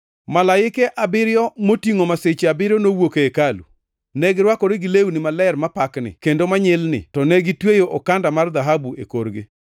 Malaike abiriyo motingʼo masiche abiriyo nowuok e hekalu. Ne girwakore gi lewni maler mapakni kendo manyilni to negitweyo okanda mar dhahabu e korgi.